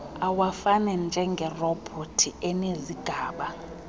awafani njengerobhothi enezigaba